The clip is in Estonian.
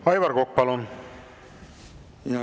Aivar Kokk, palun!